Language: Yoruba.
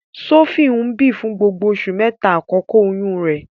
Sophie ń bi fun gbogbo oṣu mẹta akọkọ oyun rẹ.